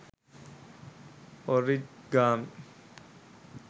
origami